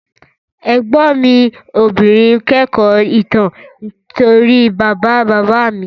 Ẹ̀gbọ́n mi obìnrin kẹ́kọ̀ọ́ ìtàn nítorí bàbá bàbá mi